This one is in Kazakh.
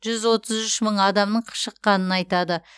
жүз отыз үш мың адамның шыққанын айтады